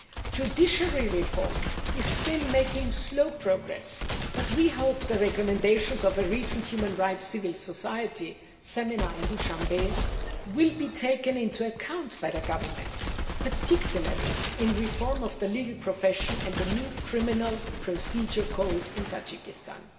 Judiciary reform is still making slow progress, but we hope the recommendations of a recent human rights civil society seminar in Dushanbe will be taken into account by the government, particularly in reform of the legal profession and the new criminal procedure code in Tajikistan.